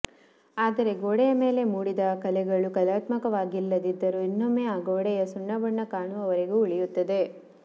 ಆದರೆ ಗೋಡೆಯ ಮೇಲೆ ಮೂಡಿದ ಕಲೆಗಳು ಕಲಾತ್ಮಕವಾಗಿಲ್ಲದಿದ್ದರೂ ಇನ್ನೊಮ್ಮೆ ಆ ಗೋಡೆಯು ಸುಣ್ಣಬಣ್ಣ ಕಾಣುವ ವರೆಗೆ ಉಳಿಯುತ್ತದೆ